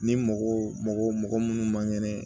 Ni mɔgɔ mɔgɔ mɔgɔ minnu man kɛnɛ